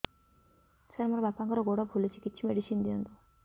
ସାର ମୋର ବାପାଙ୍କର ଗୋଡ ଫୁଲୁଛି କିଛି ମେଡିସିନ ଦିଅନ୍ତୁ